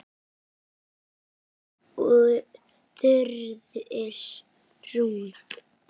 Þín Þuríður Rún.